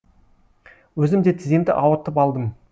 өзім де тіземді ауыртып алдым